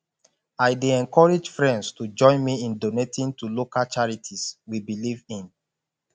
i dey encourage friends to join me in donating to local charities we believe in